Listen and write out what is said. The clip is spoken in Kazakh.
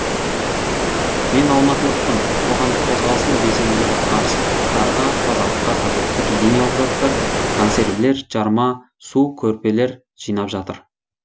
мен алматылықпын қоғамдық қозғалысының белсенділері арыстықтарға тазалыққа қажетті гигиеналық заттар консервілер жарма су көрпелер жинап жатыр